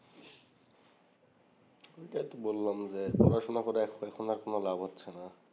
আমি এত বললাম যে পড়াশোনা করে এক পয়সার কোন লাভ হচ্ছেনা